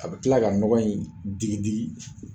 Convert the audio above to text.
A bɛ tila ka ɲɔgɔn in digi digi